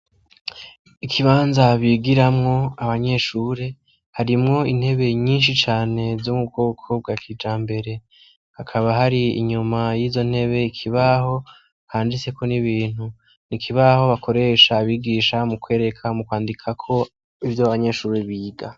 Ikibanza bigiramwo abanyeshure harimwo intebe nyinshi cane zo mu bwoko bwa kijambere , hakaba hari inyuma yizo ntebe ikibaho handitseko n'ibintu, ikibaho bakoresha abigisha mu kwereka, mu kwandikako ivyo abanyeshure biga.